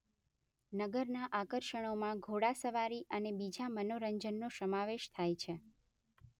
નગરના આકર્ષણોમાં ઘોડાસવારી અને બીજા મનોરંજનનો સમાવેશ થાય છે.